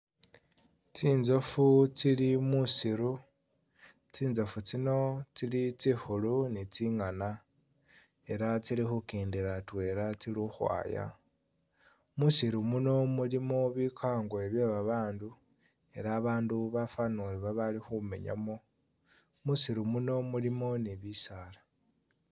Tsitsoofu tsili musiru, tsitsoofu tsino tsili tsikhulu ni tsi'ngaana ela tsili khukendela atwela tsili ukhwaya musiru muno mulimo bikango byebabandu ela babandu bafanile ori bali khumenyamo, musiru muno mulimo ne bisaala